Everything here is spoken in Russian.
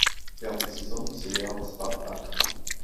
пятый сезон сериала спартак